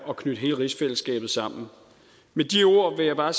og knytte hele rigsfællesskabet sammen med de ord vil jeg bare